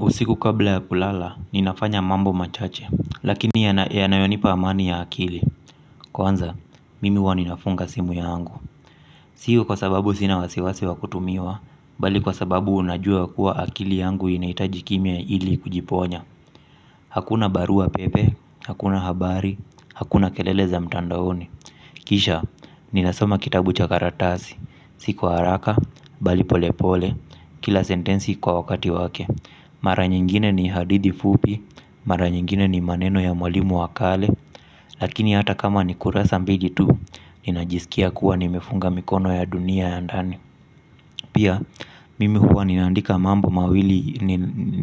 Usiku kabla ya kulala, ninafanya mambo machache lakini yanayonipa amani ya akili. Kwanza, mimi huwa ninafunga simu yangu. Sio kwa sababu sina wasiwasi wa kutumiwa. Bali kwa sababu unajua kuwa akili yangu inahitaji kimya ili kujiponya. Hakuna barua pepe, hakuna habari, hakuna kelele za mtandaoni. Kisha, ninasoma kitabu cha karatasi. Si kwa haraka, bali polepole, kila sentensi kwa wakati wake. Mara nyingine ni hadithi fupi, mara nyingine ni maneno ya mwalimu wa kale. Lakini hata kama ni kurasa mbili tu, ninajisikia kuwa nimefunga mikono ya dunia ya ndani. Pia mimi huwa ninaandika mambo mawili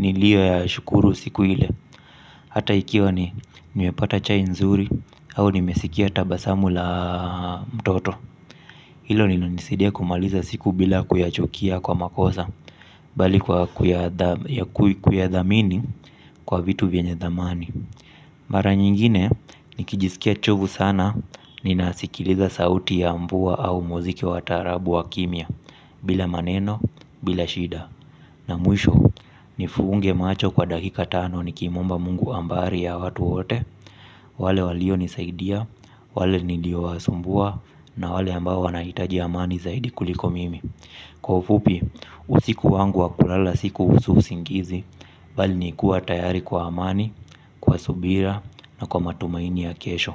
niliyoyashukuru siku ile. Hata ikiwa ni nimepata chai nzuri au nimesikia tabasamu la mtoto. Hilo nilo hunisidia kumaliza siku bila kuyachukia kwa makosa bali kwa kuyathamini kwa vitu vyenye thamani. Mara nyingine, nikijisikia chovu sana ninasikiliza sauti ya mvua au muziki wa taarabu wa kimya bila maneno, bila shida. Na mwiisho, nifunge macho kwa dakika tano nikimuomba Mungu ambari ya watu wote wale walionisaidia, wale niliowasumbua na wale ambao wanahitaji amani zaidi kuliko mimi. Kwa ufupi, usiku wangu wa kulala si kuhusu usingizi bali ni kuwa tayari kwa amani, kwa subira na kwa matumaini ya kesho.